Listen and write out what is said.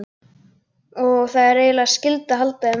Og það er eiginlega skylda að halda þeim við.